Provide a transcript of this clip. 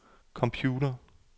computer